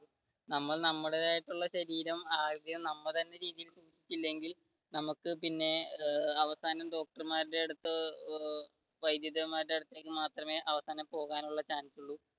നമ്മൾ നമ്മളുടെ ആയിട്ടുള്ള ശരീരം ആദ്യം നമ്മൾ തന്നെ ചികിൽസിച്ചില്ലെങ്കിൽ നമുക്ക് പിന്നെ അവസാനം ഡോക്ടർമാരുടെ അടുത്ത് വൈദ്യൻമാരുടെ അടുത്ത് മാത്രമേ അവസാനം പോകാനുള്ള chance